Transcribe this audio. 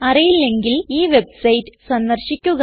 അറിയില്ലെങ്കിൽ ഈ വെബ്സൈറ്റ് സന്ദർശിക്കുക